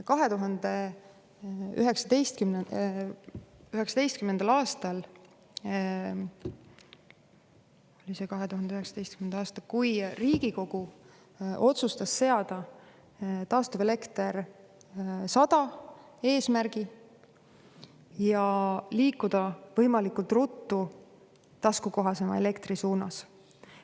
2019. aastal Riigikogu otsustas seada taastuvelekter 100 eesmärgi ja liikuda võimalikult ruttu taskukohasema elektri suunas.